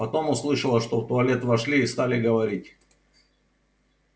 потом услышала что в туалет вошли и стали говорить